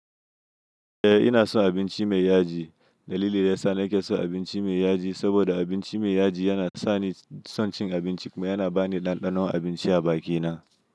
Eh ina son binci mai yaji. Dalilin da yasa na ke son abinci mai yaji saboda abinci mai yaji yana sani son cin abinci kuma yana bani ɗanɗanon abinci a bakina.